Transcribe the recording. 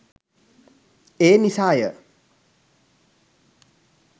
ඒ නිසාය.